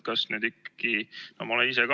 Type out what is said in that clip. Kas need ikkagi [ei ole põllumajandusloomad?